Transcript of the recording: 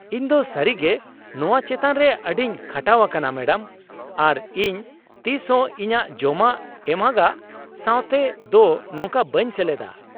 ᱤᱧ ᱫᱚ ᱥᱟᱹᱨᱤ ᱜᱮ ᱱᱚᱶᱟ ᱪᱮᱛᱟᱱ ᱨᱮ ᱟᱹᱰᱤᱧ ᱠᱷᱟᱴᱟᱣ ᱟᱠᱟᱱᱟ ᱢᱮᱰᱟᱢ , ᱟᱨ ᱤᱧ ᱛᱤᱥ ᱦᱚᱸ ᱤᱧᱟᱹᱜ ᱡᱚᱢᱟ ᱮᱢᱚᱜᱟᱜ ᱥᱟᱶᱛᱮ ᱫᱚ ᱱᱚᱝᱠᱟ ᱵᱟᱹᱧ ᱥᱮᱞᱮᱫᱟ ᱾